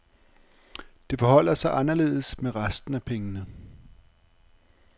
Det forholder sig anderledes med resten af pengene.